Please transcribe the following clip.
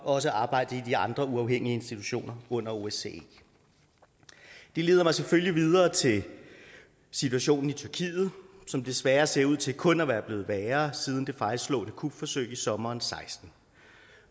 også arbejdet i de andre uafhængige institutioner under osce det leder mig selvfølgelig videre til situationen i tyrkiet som desværre ser ud til kun at være blevet værre siden det fejlslagne kupforsøg i sommeren seksten